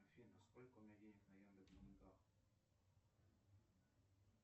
афина сколько у меня денег на яндекс деньгах